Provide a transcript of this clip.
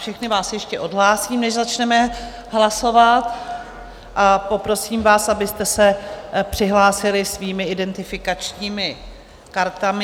Všechny vás ještě odhlásím, než začneme hlasovat, a poprosím vás, abyste se přihlásili svými identifikačními kartami.